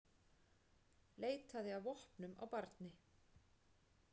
Leitaði að vopnum á barni